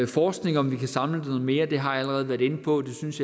forskning om vi kan samle det noget mere det har jeg allerede været inde på det synes